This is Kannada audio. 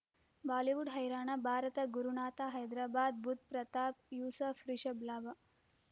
ಬಾಲಿವುಡ್ ಹೈರಾಣ ಭಾರತ ಗುರುನಾಥ ಹೈದರಾಬಾದ್ ಬುಧ್ ಪ್ರತಾಪ್ ಯೂಸುಫ್ ರಿಷಬ್ ಲಾಭ